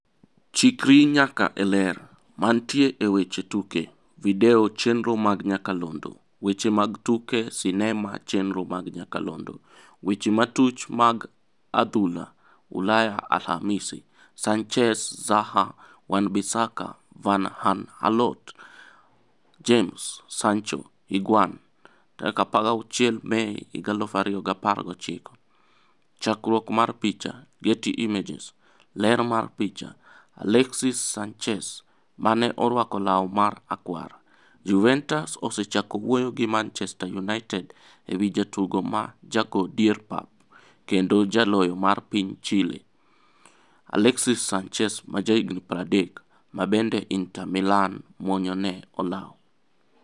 Chikri nyaka e Ler. Mantie e weche tuke. Video chenro mag nyakalondo. Weche mag tuke sinema chenro mag nyakalondo. Weche matuch mar adhula Ulaya Alhamisi: Sanchez, Zaha, Wan-Bissaka, Van Aanholt, James, Sancho, Higuain16 Mei 2019. Chakruok mar picha, Getty Images. Ler mar picha, Alexis Sanchez (mane orwako law marakwar) Juventus osechako wuoyo gi Manchester United ewi jatugo ma go dier pap kendo jaloyo mar piny mar Chile, Alexis Sanchez, 30, mabende Inter Milan muonyo ne olaw.